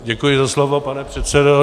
Děkuji za slovo, pane předsedo.